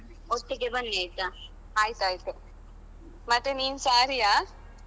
ಆಯ್ತಾಯ್ತು. ಮತ್ತೆ ನಿನ್ saree ಯಾ?